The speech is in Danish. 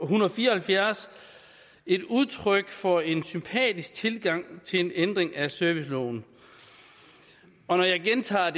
hundrede og fire og halvfjerds et udtryk for en sympatisk tilgang til en ændring af serviceloven og når jeg gentager